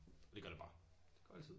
Og det gør det bare. Det går altid